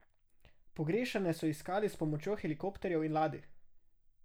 Pogrešane so iskali s pomočjo helikopterjev in ladij.